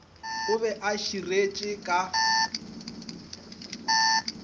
o be a širetše ka